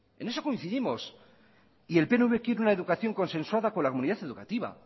en eso coincidimos y el pnv quiere una educación consensuada con la comunidad educativa